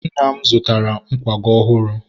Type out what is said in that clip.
nna m zụtara nkwago ọhụrụ.